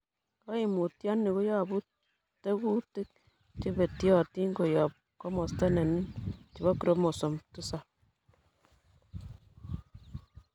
Koimutioniton koyobu tekutik chebetyotin koyob komosto nenin nebo chromosome tisab.